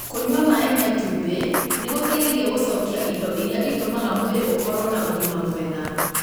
Kũnyua maĩ ma ĩtumbi nĩ gũteithagia gũcokia indo iria itũmaga mwĩrĩ ũkorũo na ũgima mwega.